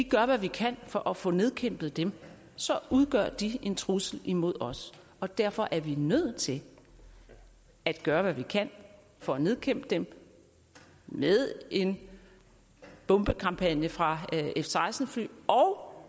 gør hvad vi kan for at få nedkæmpet dem udgør de en trussel mod os og derfor er vi nødt til at gøre hvad vi kan for at nedkæmpe dem med en bombekampagne fra f seksten fly og